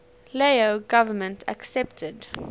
lao government accepted